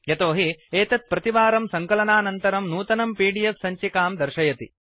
यतोहि एतत् प्रतिवारं सङ्कलनानन्तरं नूतनं पीडीएफ सञ्चिकां दर्शयति